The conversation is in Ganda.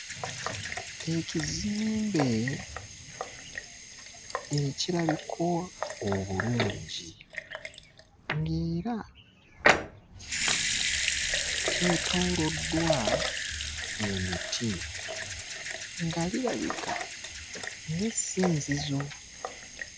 Ekizimbe ekirabika obulungi ng'era kyetooloddwa emiti, nga lirabika ng'essinzizo.